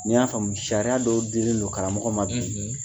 Ni n y'a faamu sariyari dɔw dilen do karamɔgɔ ma bi.